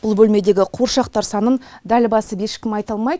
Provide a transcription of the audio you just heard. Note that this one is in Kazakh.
бұл бөлмедегі қуыршақтар санын дәл басып ешкім айта алмайды